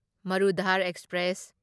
Marudhar express